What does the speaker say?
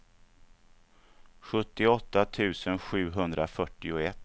sjuttioåtta tusen sjuhundrafyrtioett